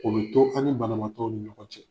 Kulu to an' ni banabagatɔw ni ɲɔgɔn cɛ.